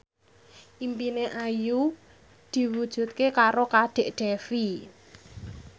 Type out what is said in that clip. impine Ayu diwujudke karo Kadek Devi